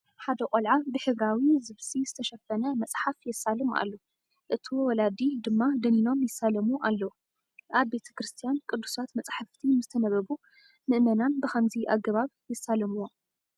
ሓደ ቆልዓ ብሕብራዊ ዝብሲ ዝተሸፈነ መፅሓፍ የሳልም ኣሎ፡፡ እቶ ወላዲ ድማ ደኒኖም ይሳለሙ ኣለዎ፡፡ ኣብ ቤተ ክርስቲያ ቅዱሳት መፃሕፍቲ ምስተነበቡ ምእመናን ብኸምዚ ኣገባ ይሳለሙዎም፡፡